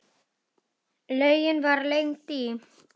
Laugin var lengd í